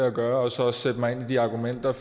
at gøre og så sætte mig ind i de argumenter